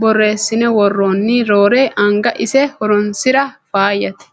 borreessine worranni roore anga ise horonsira faayyate.